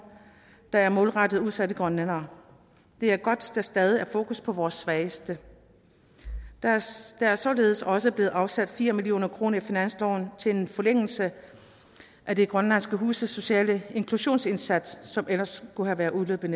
der er målrettet udsatte grønlændere det er godt der stadig er fokus på vores svageste der er således også blevet afsat fire million kroner i finansloven til en forlængelse af de grønlandske huses sociale inklusionsindsats som ellers ville være udløbet